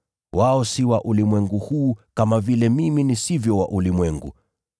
Wao si wa ulimwengu huu, kama vile mimi nisivyo wa ulimwengu.